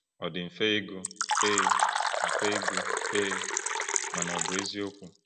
Ọ dị mfe ịgụ, ee, mfe ịgụ, ee, mana ọ̀ bụ eziokwu?